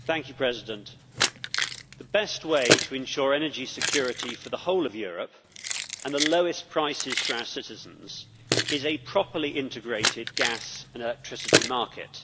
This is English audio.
Mr President, the best way to ensure energy security for the whole of Europe and the lowest prices for our citizens is a properly integrated gas and electricity market.